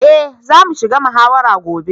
Eh za su shiga muhawarar gobe.